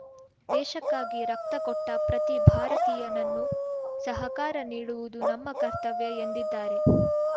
ದೇಶಕ್ಕಾಗಿ ರಕ್ತಕೊಟ್ಟ ಪ್ರತಿ ಭಾರತೀಯನನ್ನು ಸಹಕಾರ ನೀಡುವುದು ನಮ್ಮ ಕರ್ತವ್ಯ ಎಂದಿದ್ದಾರೆ